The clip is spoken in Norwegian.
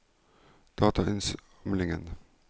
datainnsamling